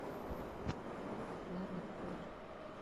ладно пополню